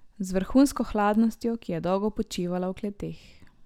Z vrhunsko hladnostjo, ki je dolgo počivala v kleteh.